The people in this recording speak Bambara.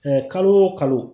kalo o kalo